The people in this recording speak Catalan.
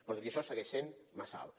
però tot i això segueix sent massa alt